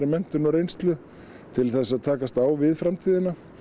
menntun og reynslu til þess að takast á við framtíðina